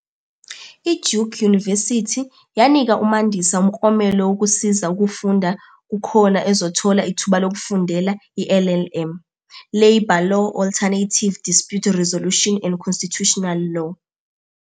IDuke University yanika uMandiisa umklomelo wokusiza ukufunda kuhkona ezothola ithuba lokufundela iLLM, Labour Law - Alternative Dispute Resolution and Constitutional Law.